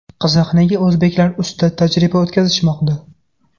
Qiziq, nega o‘zbeklar ustida tajriba o‘tkazishmoqda?